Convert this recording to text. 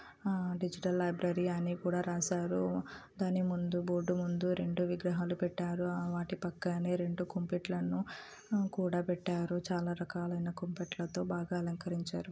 ఆ digital library అన్ని కూడా రాసారు. దాని ముందు బోర్డు ముందు రెండు విగ్రహాలు పెట్టారు. వాటి పక్కనే రెండు కుంపెట్లను కూడా పెట్టరు. చాలా రకాలు అయిన కుంపెట్లతో బాగా అలంకరించారు.